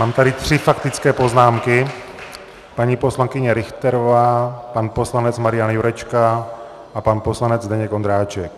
Mám tady tři faktické poznámky - paní poslankyně Richterová, pan poslanec Marian Jurečka a pan poslanec Zdeněk Ondráček.